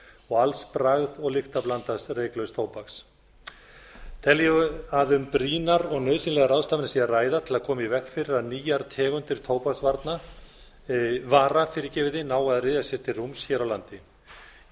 og alls bragð og lyktarblandaðs reyklauss tóbaks tel ég að um brýnar og nauðsynlegar ráðstafanir sé að ræða til að koma í veg fyrir að nýjar tegundir tóbaksvara nái að ryðja sér til rúms hér á landi ég